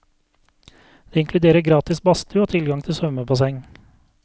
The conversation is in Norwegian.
Det inkluderer gratis badstue og tilgang til svømmebasseng.